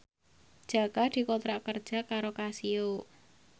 Jaka dikontrak kerja karo Casio